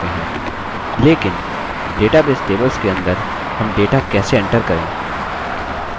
लेकिन database tables के अंदर हम data कैसे enter करें